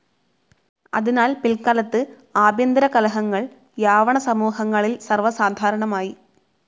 അതിനാൽ പിൽക്കാലത്ത് ആഭ്യന്തരകലഹങ്ങൾ യാവണസമൂഹങ്ങളിൽ സർവ്വസാധാരണമായി.